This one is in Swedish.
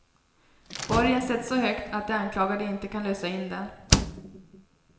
Borgen sätts så högt att de anklagade inte kan lösa in den.